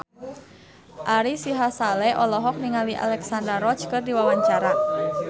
Ari Sihasale olohok ningali Alexandra Roach keur diwawancara